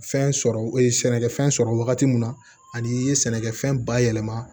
Fɛn sɔrɔ sɛnɛkɛfɛn sɔrɔ wagati min na ani i ye sɛnɛkɛfɛn bayɛlɛma